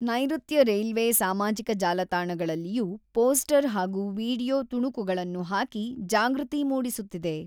ನೈರುತ್ಯ ರೈಲ್ವೆ ಸಾಮಾಜಿಕ ಜಾಲತಾಣಗಳಲ್ಲಿಯೂ ಪೋಸ್ಟರ್ ಹಾಗೂ ವಿಡಿಯೋ ತುಣುಕುಗಳನ್ನು ಹಾಕಿ ಜಾಗೃತಿ ಮೂಡಿಸುತ್ತಿದೆ.